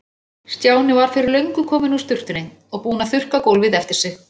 Stjáni var fyrir löngu kominn úr sturtunni og búinn að þurrka gólfið eftir sig.